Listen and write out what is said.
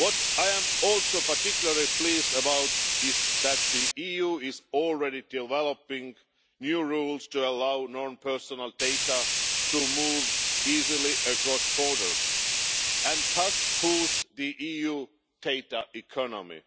I am also particularly pleased that the EU is already developing new rules to allow non personal data to move easily across borders and thus boost the EU data economy.